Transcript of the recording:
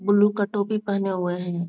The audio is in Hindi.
बुलु का टोपी पहने हुए है।